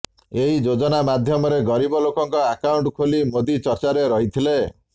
ଏହି ଯୋଜନା ମାଧ୍ୟମରେ ଗରିବ ଲୋକଙ୍କ ଆକାଉଣ୍ଟ ଖୋଲି ମୋଦି ଚର୍ଚ୍ଚାରେ ରହିଥିଲେ